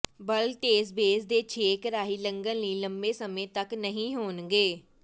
ਬੱਲਟਸ base ਦੇ ਛੇਕ ਰਾਹੀਂ ਲੰਘਣ ਲਈ ਲੰਬੇ ਸਮੇਂ ਤਕ ਨਹੀਂ ਹੋਣਗੇ